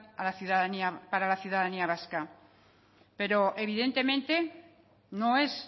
a la ciudadanía para la ciudadanía vasca pero evidentemente no es